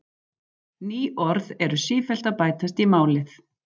Ný orð eru sífellt að bætast í málið.